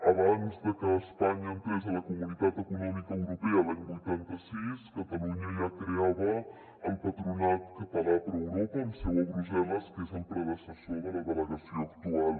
abans de que espanya entrés a la comunitat econòmica europea l’any vuitanta sis catalunya ja creava el patronat català pro europa amb seu a brussel·les que és el predecessor de la delegació actual